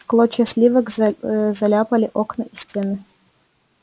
клочья сливок заляпали окна и стены